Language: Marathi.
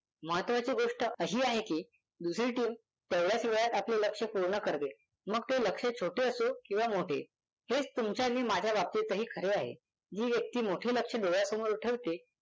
महत्त्वाची गोष्ट अशी आहे की दुसरी team तेवढ्याचा वेळात आपले लक्ष्य पूर्ण करते मग ते लक्ष्य छोटे असो किंवा मोठे. हेच तुमच्या माझ्या बाबतीतही खरे आहे. जी व्यक्ती मोठे लक्ष्य डोळयासमोर ठेवते